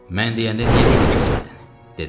Mən deyəndə niyə dilini kəsmədin, dedi.